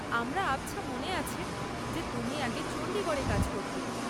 আমরা আবছা মনে আছে যে তুমি আগে চণ্ডীগড়ে কাজ করতে।